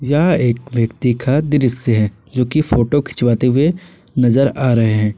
यह एक व्यक्ति का दृश्य है जो की फोटो खिंचवाते हुए नजर आ रहे हैं।